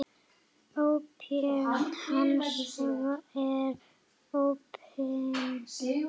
Óp hans er opin